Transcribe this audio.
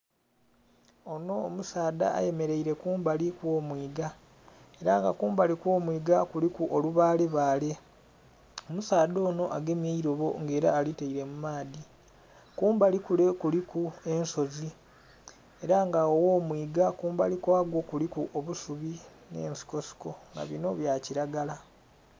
Onho omusaadha ayemereire kumbali okwo mwiga era nga kumbali okwo mwiga kuliku olubale bale. Omusaadha onho agemye eirobo nga era alitaire mu maadhi, kumbali kule kuliku ensozi era nga agho gho mwiga kumbali kwagwo kuliku eisubi nhe nsiko siko nga binho bya kilagala.